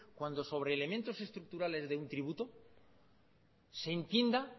cuando sobre elementos estructurales de un tributo se entienda